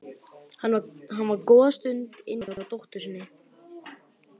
Hann var góða stund inni hjá dóttur sinni.